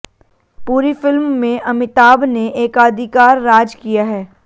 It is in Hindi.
पूरी फिल्म में अमिताभ ने एकाधिकार राज किया है